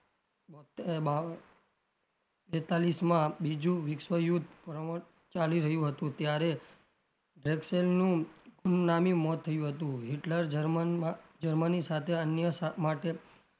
બોતેર બેતાલીશ માં બીજું વિશ્વયુદ્ધ ચાલી રહ્યું હતું ત્યારે ગુમનામી મોત થયું હતું હિટલર જર્મનમાં જર્મની સાથે અન્ય માટે,